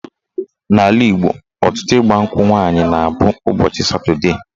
N'ala Igbo, ọtụtụ ịgbankwụ nwaanyị na-abụ ụbọchị Satọdee